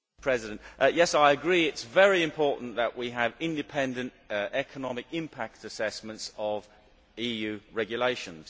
Mr President, yes I agree, it is very important that we have independent economic impact assessments of EU regulations.